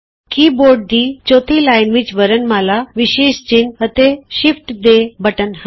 ਕੀ board ਦੀ ਚੌਥੀ line ਵਿਚ ਵਰਣਮਾਲਾ ਵਿਸ਼ੇਸ਼ ਚਿੰਨ੍ਹ ਅਤੇ ਸ਼ਿਫਟ ਦੇ ਬਟਨ ਹਨ